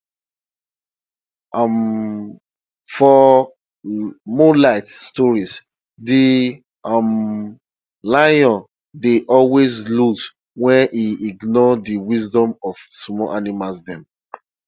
um for moonlight stories de um lion dey always lose wen he ignore de wisdom of small animals dem